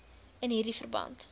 in hierdie verband